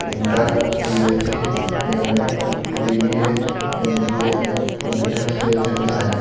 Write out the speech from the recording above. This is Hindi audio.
inter BSc MA BBA MGA computer sales and science --